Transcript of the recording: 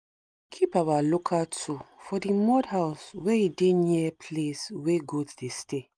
we keep our local tool for the mud house wey e dey near place wey goat dey stay